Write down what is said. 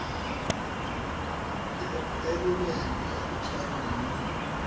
thebolelo ya go tshwara moi